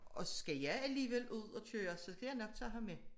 Og skal jeg alligevel ud at køre så skal jeg nok tage ham med